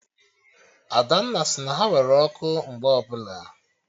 Adanna sị na ha nwere ọkụ mgbe ọbụla